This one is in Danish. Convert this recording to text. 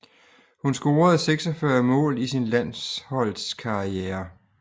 Hun scorede 46 mål i sin landshold karriere